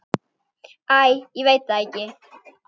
Æ, ég veit það ekki.